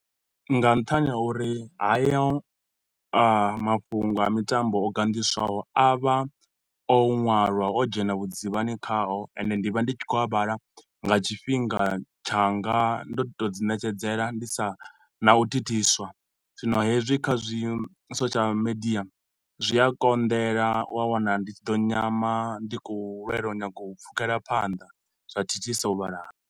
Nga nṱhani ha uri hayo mafhungo a mitambo o ganḓiswaho a vha o ṅwalwa o dzhena vhudzivhani khaho ende ndi vha ndi tshi khou a vhala nga tshifhinga tshanga ndo tou dzi ṋetshedzela ndi sa na u thithiswa zwino hezwi kha zwi social media, zwi a konḓela u a wana ndi tshi ḓo nyama ndi khou lwelwa u nyaga u pfukhela phanḓa zwa thithisa u vhala.